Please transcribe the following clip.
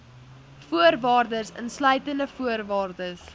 voorwaardes insluitende voorwaardes